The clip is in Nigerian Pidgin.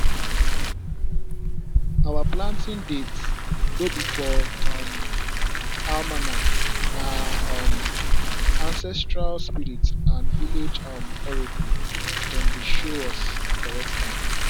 our planting date no be for um almanac na um ancestral spirit and village um oracle dem dey show us di correct time